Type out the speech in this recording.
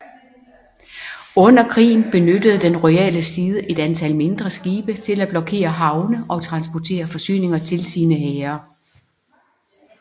Under krigen benyttede den royale side et antal mindre skibe til at blokere havne og transportere forsyninger til sine hære